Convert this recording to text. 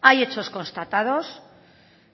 hay hechos constatados